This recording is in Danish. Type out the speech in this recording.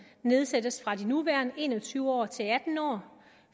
nedsættes fra de nuværende en og tyve år til atten år